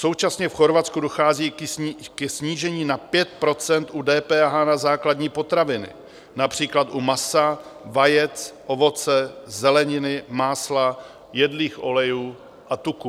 Současně v Chorvatsku dochází ke snížení na 5 % u DPH na základní potraviny, například u masa, vajec, ovoce, zeleniny, másla, jedlých olejů a tuků.